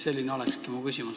Selline ongi mu küsimus.